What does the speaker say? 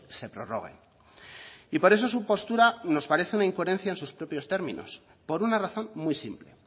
se prorroguen y por eso su postura nos parece una incoherencia en sus propios términos por una razón muy simple